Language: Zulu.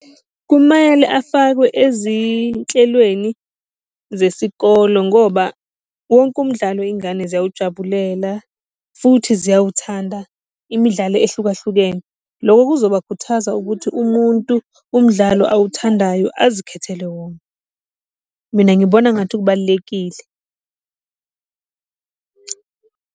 Kumele afakwe ezinhlelweni zesikolo ngoba wonke umdlalo iy'ngane ziyawujabulela futhi ziyawuthanda imidlalo ehlukahlukene. Loko kuzobakuthaza ukuthi umuntu umdlalo awuthandayo azikhethele wona. Mina ngibona ngathi kubalulekile .